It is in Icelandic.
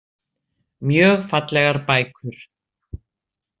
Mjög fallegar bækur.